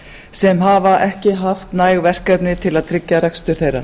sem hafa ekki haft næg verkefni til að tryggja rekstur þeirra